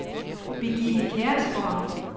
Birgitte Kjærsgaard